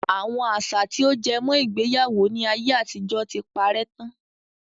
Àwọn àṣà tí ó jẹ mọ́ ìgbéyàwó ni ayé àtijọ́ tí parè tán.